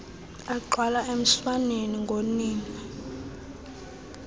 agxwala emswaneni ngonina